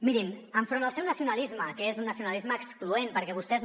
mirin enfront del seu nacionalisme que és un nacionalisme excloent perquè vostès